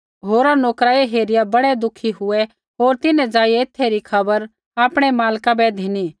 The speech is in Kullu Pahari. होरा नोकर ऐ हेरिया बड़ै दुखी हुऐ होर तिन्हैं ज़ाइआ एथै री खबर आपणै मालका बै धिनी